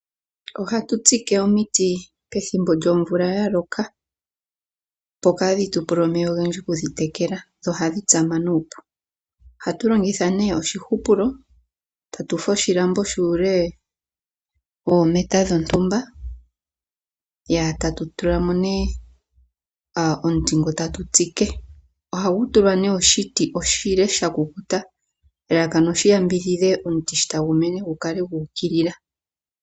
Ohatu tsike omiti pethimbo lyomvula ya loka, opo kaadhi tu pule omeya ogendji okudhi tekela dho ohadhi tsama nuupu. Ohatu longitha nee oshihupulo, tatu fulu oshilambo shuule woometa dhontumba tatu tula mo nee omuti ngo tatu tsike. Ohagu tulwa nee oshiti oshile sha kukuta, elalakano oshi yambidhidhe omuti sho tagu mene gu kale gu ukilila.